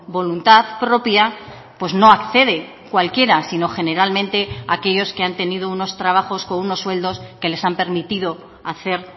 voluntad propia pues no accede cualquiera sino generalmente aquellos que han tenido unos trabajos con unos sueldos que les han permitido hacer